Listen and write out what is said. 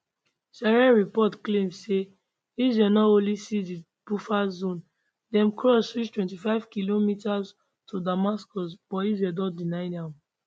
syrian reports claim say israel no only seize di buffer zone dem cross reach 25 kilometres to damascus but israel don deny am